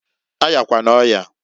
A yakwana oyaǃ